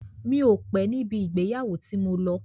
Mi ò pé níbi ìgbéyàwó tí mo lọ.